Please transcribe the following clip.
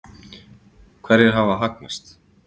Hverjir hafa hagnast?